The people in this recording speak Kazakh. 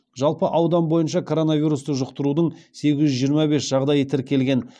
жалпы аудан бойынша коронавирусты жұқтырудың сегіз жүз жиырма бес жағдайы тіркелген